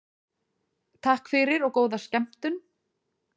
Takk fyrir og góða skemmtun.